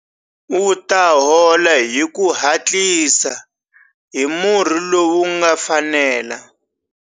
U ta hola hi ku hatlisa hi murhi lowu wu nga fanela.